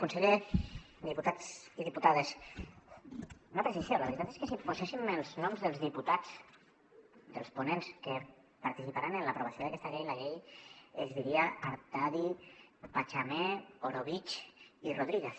conseller diputats i diputades una precisió la veritat és que si poséssim els noms dels diputats dels ponents que participaran en l’aprovació d’aquesta llei la llei es diria artadi pachamé orobitg i rodríguez